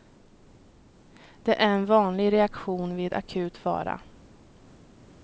Det är en vanlig reaktion vid akut fara.